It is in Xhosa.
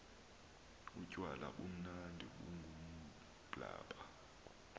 utywala bumnandi bungumblaba